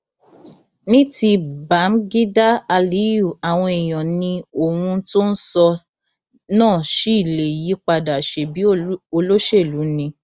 ní ti báḿgídá aliyu àwọn èèyàn ni ohun tó ń sọ náà ṣì lè yípadà ṣebí olóṣèlú ni